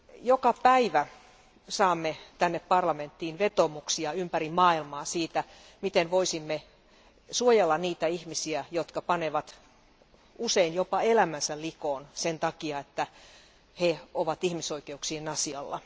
Joka päivä saamme tänne parlamenttiin vetoomuksia ympäri maailmaa siitä, miten voisimme suojella niitä ihmisiä, jotka panevat usein jopa elämänsä likoon sen takia, että he ovat ihmisoikeuksien asialla.